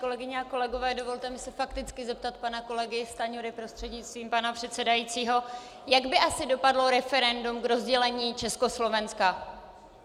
Kolegyně a kolegové, dovolte mi se fakticky zeptat pana kolegy Stanjury prostřednictvím pana předsedajícího: Jak by asi dopadlo referendum k rozdělení Československa?